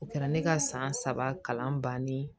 O kɛra ne ka san saba kalan bannen ye